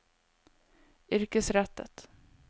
yrkesrettet